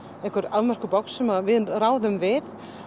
afmörkuð box sem við ráðum við